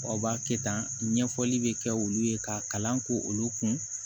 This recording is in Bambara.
Aw b'a kɛ tan ɲɛfɔli bɛ kɛ olu ye ka kalan k'olu kun